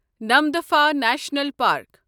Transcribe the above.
Namdapha national park